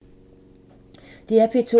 DR P2